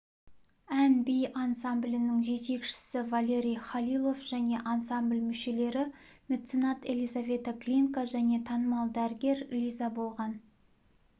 ән-би ансамблінің жетекшісівалерий халилов және ансамбль мүшелері меценат елизавета глинка және танымал дәрігер лиза болған